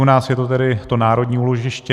U nás je to tedy to národní úložiště.